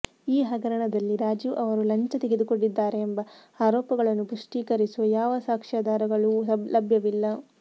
ಈ ಹಗರಣದಲ್ಲಿ ರಾಜೀವ್ ಅವರು ಲಂಚ ತೆಗೆದುಕೊಂಡಿದ್ದಾರೆಂಬ ಆರೋಪಗಳನ್ನು ಪುಷ್ಟೀಕರಿಸುವ ಯಾವ ಸಾಕ್ಷ್ಯಾಧಾರಗಳೂ ಲಭ್ಯವಿಲ್ಲ